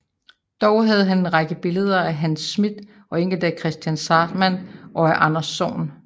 Dog havde han en række billeder af Hans Smidth og enkelte af Kristian Zahrtmann og af Anders Zorn